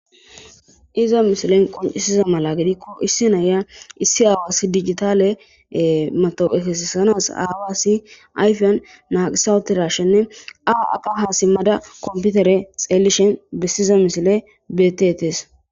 Iza mishilen qoncisiza mala gedikko issi naya issi aawasi digitale mato'ekessanas aawassi ayfiyan naaqisawuetirashenne aa aqa haasimmada komputere xeellishen bessiza mishile betetees